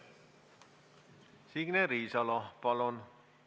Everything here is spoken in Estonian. Signe Riisalo, palun!